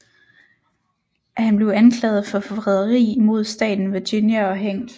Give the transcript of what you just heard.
Han blev anklaget for forræderi imod staten Virginia og hængt